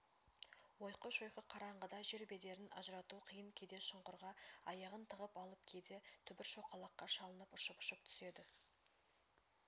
ойқы-шойқы қараңғыда жер бедерін ажырату қиын кейде шұңқырға аяғын тығып алып кейде түбір-шоқалаққа шалынып ұшып-ұшып түседі